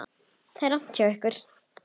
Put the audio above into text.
Það er rangt hjá ykkur.